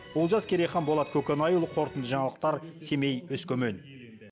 олжас керейхан болат көкенайұлы қорытынды жаңалықтар семей өскемен